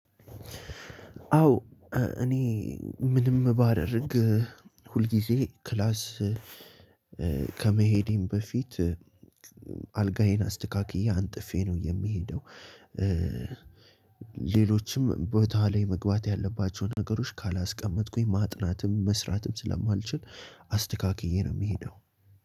አዎ እኔ ምንም ባደርግ ሁልጊዜ ክላስ ከመሄዴም በፊት አልጋዬን አስተካክዬ አንጥፌ ነው የሚሄደው። ሌሎችም ቦታ ላይ መግባት ያለባቸውን ነገሮች ካላስቀመጥኩኝ ማጥናትም መስራትም ስላልማልችል። አስተካክዬ ነው የምሄደው